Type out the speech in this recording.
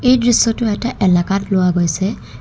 এই দৃশ্যটো এটা এলেকাত লোৱা গৈছে।